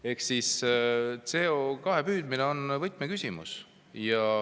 Ehk siis CO2 püüdmine on võtmeküsimus.